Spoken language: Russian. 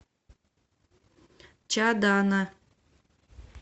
чадана